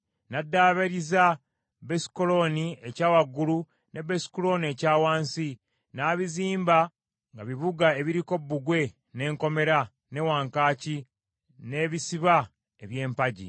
N’addaabiriza Besukolooni ekya waggulu ne Besukolooni ekya wansi, n’abizimba nga bibuga ebiriko bbugwe, n’enkomera, ne wankaaki, n’ebisiba eby’empagi,